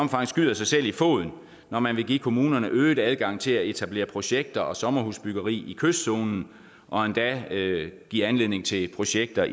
omfang skyder sig selv i foden når man vil give kommunerne øget adgang til at etablere projekter og sommerhusbyggeri i kystzonen og endda give anledning til projekter